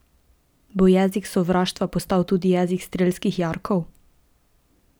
Bo jezik sovraštva postal tudi jezik strelskih jarkov?